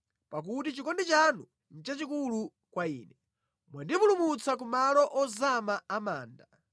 Pakuti chikondi chanu nʼchachikulu kwa ine; mwandipulumutsa ku malo ozama a manda.